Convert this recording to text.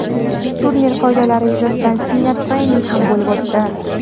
turnir qoidalari yuzasidan seminar-trening ham bo‘lib o‘tdi!.